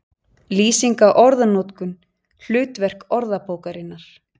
Lýsing á orðanotkun, hlutverk orðabókarinnar